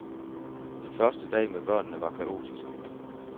Den første dag med børnene var kaotisk.